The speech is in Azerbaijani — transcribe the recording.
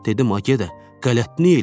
Dedim ay gədə, qələt nə eləmisən?